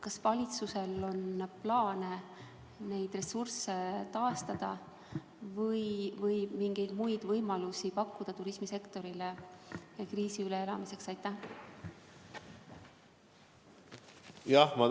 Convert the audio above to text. Kas valitsusel on plaan neid ressursse taastada või pakkuda turismisektorile kriisi üleelamiseks mingeid muid võimalusi?